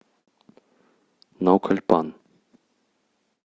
наукальпан